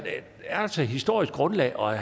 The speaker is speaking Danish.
altså et historisk grundlag for at